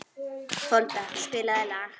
Folda, spilaðu lag.